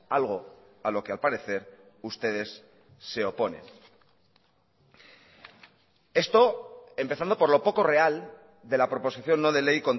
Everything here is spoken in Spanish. algo a lo que al parecer ustedes se oponen esto empezando por lo poco real de la proposición no de ley